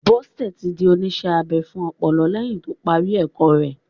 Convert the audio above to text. Bọ́sẹ̀ ti di oníṣẹ́-abẹ fún ọpọlọ lẹ́yìn to parí ẹ̀kọ́ rẹ.